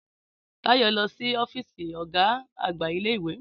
Táyọ̀ lọ sí ọ́físì ọ̀gá àgbà iléìwè